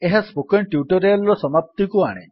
ଏହା spoken tutorial ର ସମାପ୍ତିକୁ ଆଣେ